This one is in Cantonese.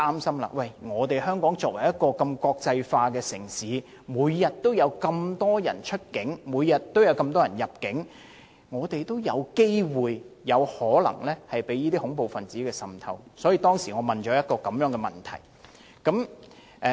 由於香港是國際城市，每天有大量遊客出境入境，有機會及有可能被恐怖分子滲透，所以我在2015年提出該項質詢。